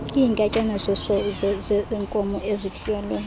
iinkatyana zenkomo ezifuyelwe